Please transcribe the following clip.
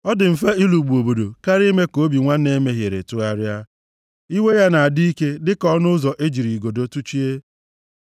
Ọ dị mfe ịlụgbụ obodo karịa ime ka obi nwanne e mehiere tụgharịa. Iwe ya na-adị ike dịka ọnụ ụzọ e jiri igodo tụchie.